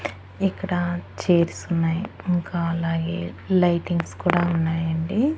ఇక్కడ చేర్సున్నాయి ఇంకా అలాగే లైటింగ్స్ కూడా ఉన్నాయండి.